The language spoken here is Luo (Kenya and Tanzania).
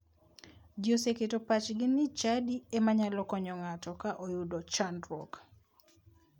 Ji oseketo pachgi ni chadi ema nyalo konyo ng'ato ka oyudo chandruok.